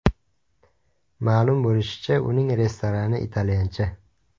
Ma’lum bo‘lishicha, uning restorani italyancha.